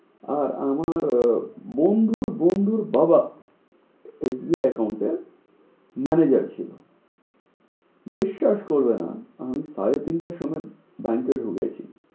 আর আমার বন্ধুর বন্ধুর বাবা SBI account এর manager ছিলো বিশ্বাস করবে না আমি সাড়ে তিনটের সময় bank এ ঢুকেছি